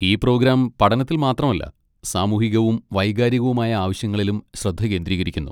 ഈ പ്രോഗ്രാം പഠനത്തിൽ മാത്രമല്ല, സാമൂഹികവും വൈകാരികവുമായ ആവശ്യങ്ങളിലും ശ്രദ്ധ കേന്ദ്രീകരിക്കുന്നു.